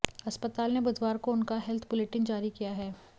अस्पताल ने बुधवार को उनका हेल्थ बुलेटिन जारी किया है